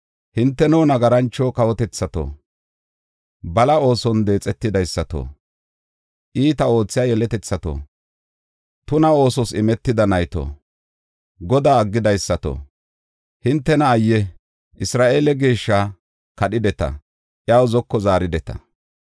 Hinteno, nagarancho kawotethato, bala ooson deexidaysato, iitaa oothiya yeletethato, tuna oosos imetida nayto, Godaa aggidaysato, hintena ayye! Isra7eele Geeshshaa kadhideta; iyaw zoko zaarideta.